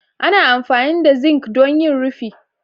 ana amfani da zinc don yin rufi